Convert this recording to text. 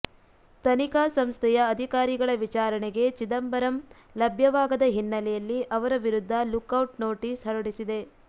ತನಿಖಾ ಸಂಸ್ಥೆಯ ಅಧಿಕಾರಿಗಳ ವಿಚಾರಣೆಗೆ ಚಿದಂಬರಂ ಲಭ್ಯವಾಗದ ಹಿನ್ನಲೆಯಲ್ಲಿ ಅವರ ವಿರುದ್ಧ ಲುಕ್ ಔಟ್ ನೋಟೀಸ್ ಹೊರಡಿಸಿದೆ